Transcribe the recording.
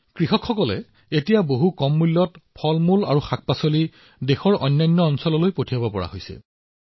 এতিয়া কৃষকসকলে অতি কম মূল্যত দেশৰ আন দূৰৱৰ্তী অঞ্চললৈ ফল পাচলি খাদ্যশস্য প্ৰেৰণ কৰিবলৈ সক্ষম হৈছে